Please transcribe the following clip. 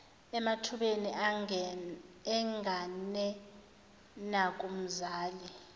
emathubeni engane nakumzali